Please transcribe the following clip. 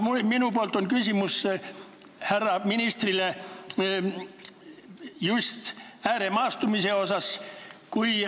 Aga minul on härra ministrile küsimus just ääremaastumise kohta.